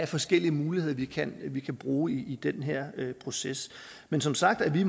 forskellige muligheder vi kan vi kan bruge i den her proces men som sagt er vi